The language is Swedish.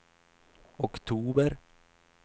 oktober